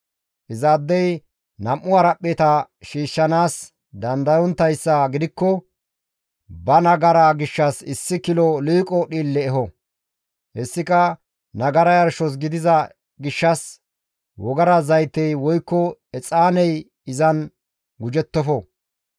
Izaadey nam7u haraphpheta shiishshanaas dandayonttayssa gidikko ba nagaraa gishshas issi kilo liiqo dhiille eho; hessika nagara yarshos gidiza gishshas wogara zaytey woykko exaaney izan gujettofo.